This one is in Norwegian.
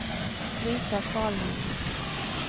Brita Kvalvik